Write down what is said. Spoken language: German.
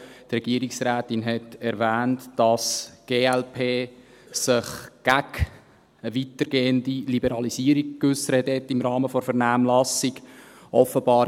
Die Regierungsrätin hat erwähnt, dass sich die glp gegen eine weitergehende Liberalisierung im Rahmen der Vernehmlassung geäussert hat.